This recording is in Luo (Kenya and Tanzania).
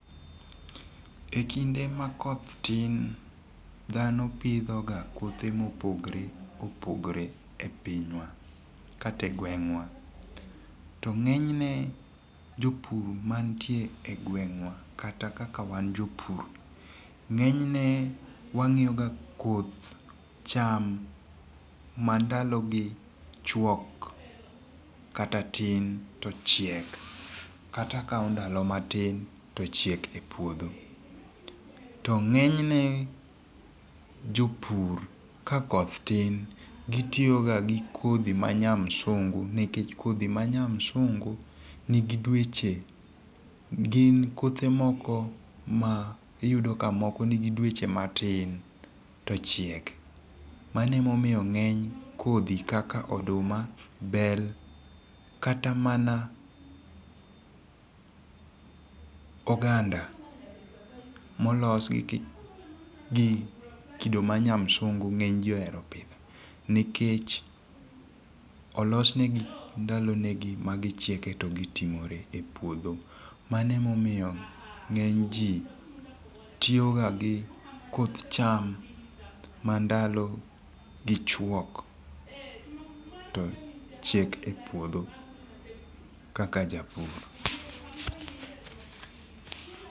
Ekinde ma koth tin dhano pidho ga kothe mopogore opogre e pinywa kata e gweng'wa. To ng'enyne jopur mantie e gweng'wa kata kaka wan jopur ng'enyne wang'iyo ga koth cham ma ndalo gi chuok kata tin to chiek kata kao ndalo matin to chiek e puodho. To ng'enyne jopur kakoth tin gitiyo ga gi kodhi ma nya msungu nikech kodhi ma nya msungu nigi dweche gin kothe moko ma iyudo ka moko nigi dweche matin to chiek manemomiyo ng'eny kodhi kaka oduma, bel kata mana oganda molos gi gi kido manya msungu ng'eny jii ohero pidho nikech olosnegi ndalo ne gi ma gichieke to gitimore e puodho manemomiyo ng'eny jii tiyo ga gi koth cham ma ndalo gi chuok to chiek e puodho kaka japur.